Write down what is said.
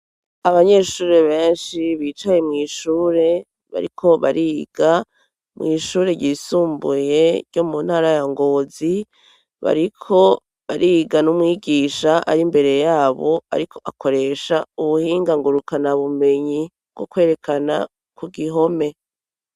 abanyeshuri benshi bicaye mw, ishure bariko bariga mw, ishure ryisumbuye ryo mu ntara ya ngozi bariko bariga n'umwigisha ari mbere yabo ariko akoresha ubuhinga ngurukana bumenyi bwo kwerekana ku gihome